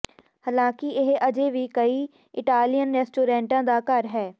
ਹਾਲਾਂਕਿ ਇਹ ਅਜੇ ਵੀ ਕਈ ਇਟਾਲੀਅਨ ਰੈਸਟੋਰੈਂਟਾਂ ਦਾ ਘਰ ਹੈ